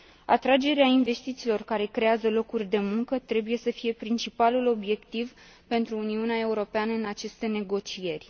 Atragerea investițiilor care creează locuri de muncă trebuie să fie principalul obiectiv pentru Uniunea Europeană în aceste negocieri.